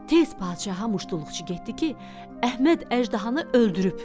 Tez padşaha muştuluqçu getdi ki, Əhməd əjdahanı öldürüb.